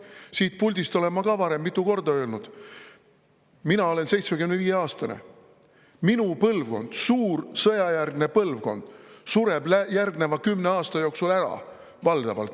Siit puldist olen ma ka varem mitu korda öelnud: mina olen 75‑aastane, minu põlvkond, suur sõjajärgne põlvkond sureb valdavalt järgneva kümne aasta jooksul ära.